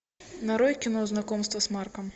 нарой кино знакомство с марком